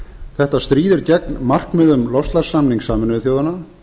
þetta stríðir gegn markmiðum loftslagssamnings sameinuðu þjóðanna